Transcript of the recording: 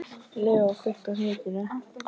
Leo, kveiktu á sjónvarpinu.